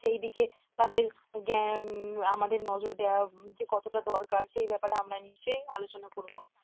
সেই দিকে তাদের জ্ঞান আমাদের নজর দেওয়া যে কতটা দরকার সে ব্যাপারে আমরা নিশ্চয়ই আলোচনা করব